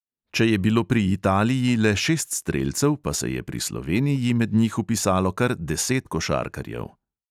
Če je bilo pri italiji le šest strelcev, pa se je pri sloveniji med njih vpisalo kar deset košarkarjev.